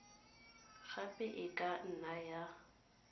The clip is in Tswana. gape e ka nna ya